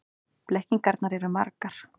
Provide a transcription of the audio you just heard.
Blekkingarnar eru margar.